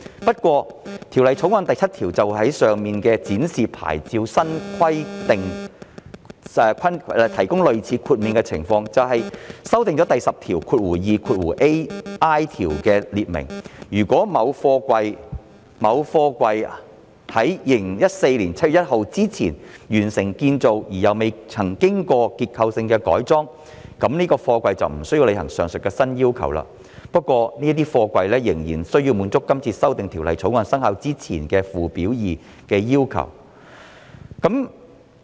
不過，《條例草案》第7條就上述展示牌照新規定提供類似豁免的情況，即修訂第 102ai 條，訂明如某貨櫃於2014年7月1日之前完成建造而又未曾經過結構性的改裝，就該貨櫃便不需要履行上述的新要求，但仍須滿足《條例草案》生效之前的附表2的要求。